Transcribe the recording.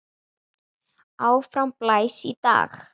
Áfram blæs í dag.